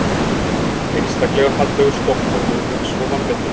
Einstaklega fallegur Stokkhólmur og svo vanmetinn.